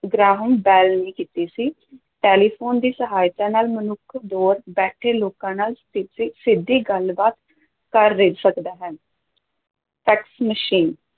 Graham Bell ਨੇ ਕੀਤੀ ਸੀ ਟੈਲੀਫ਼ੋਨ ਦੀ ਸਹਾਇਤਾ ਨਾਲ ਮਨੁੱਖ ਦੂਰ ਬੈਠੇ ਲੋਕਾਂ ਨਾਲ ਸਿੱਧੀ ਗੱਲਬਾਤ ਕਰ ਸਕਦਾ ਹੈ ਫੈਕਸ ਮਸ਼ੀਨ